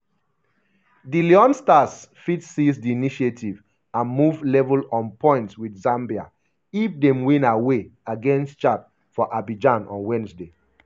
di leone stars fit seize di initiative and move level on points wit zambia if dem win ‘away’ against chad for abidjan on wednesday.